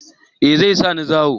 Eh zai sa ni zawo